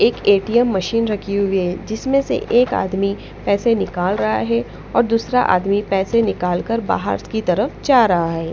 एक मशीन रखी हुई है जिसमें से एक आदमी पैसे निकाल रहा है और दूसरा आदमी पैसे निकाल कर बाहर की तरफ जा रहा है।